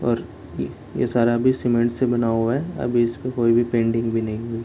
और ये ये सारा भी सीमेंट से बना हुआ है अभी इसको कोई भी पेंटिंग भी नहीं हुई |